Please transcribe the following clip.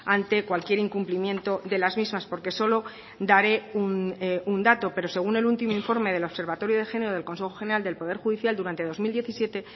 ante cualquier incumplimiento de las mismas porque solo daré un dato pero según el último informe del observatorio de género del consejo general del poder judicial durante dos mil diecisiete